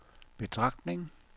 betragtning